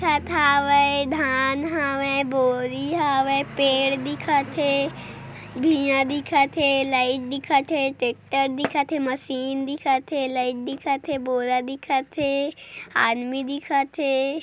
खत हावय धान हवय बोरी हवय पेड़ दिखत हे भुइँया दिखत हे लाइट दिखत हे ट्रेक्टर दिखत हे मशीन दिखत हे लइट दिखत हे बोरा दिखत हे आदमी दिखत हे।